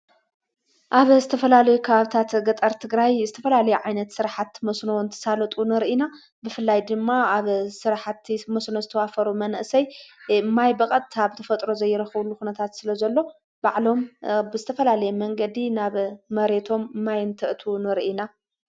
ኣብ ዝተፈላል ክኣብታት ገጠርትግራይ ዝተፈላል ዓይነት ሥርሓት መስኖ ንተሳለጡ ንርኢና ብፍላይ ድማ ኣብ ሥርሕቲ መስኖ ዝተዋፈሩ መንእሰይ ማይ በቐጥታብተፈጥሮ ዘይረኽብሉ ኹነታት ስለ ዘሎ ባዕሎም ብስተፈላለየ መንገዲ ናብ መሬቶም ማይንትእቱ ንርኢና።